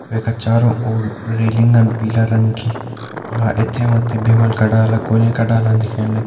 वैका चारों ओर रेलिंगन पीला रंग की बाहर यथें वथें भीमल का डाला कोल्यें का डाला दिखेण लग्यां।